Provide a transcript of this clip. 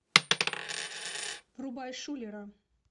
врубай шулера